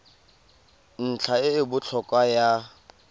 ntlha e e botlhokwa ya